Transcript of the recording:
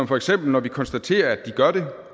for eksempel konstaterer at de gør det